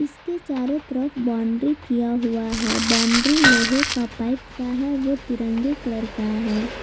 इसके चारों तरफ बाउंड्री किया हुआ है बाउंड्री लोहे का पाइप का है वो तिरंगे कलर का है।